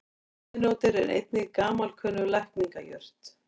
Burnirótin er einnig gamalkunnug lækningajurt.